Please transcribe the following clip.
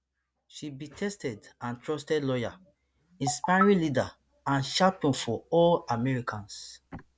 she be tested and trusted lawyer inspiring leader and champion for all americans